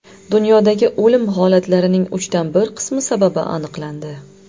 Dunyodagi o‘lim holatlarining uchdan bir qismi sababi aniqlandi.